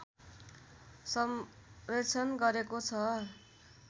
संरक्षण गरेको छ